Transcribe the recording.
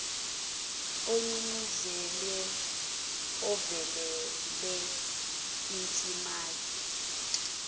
ogqugquzelwe ngokuvelele umzimasi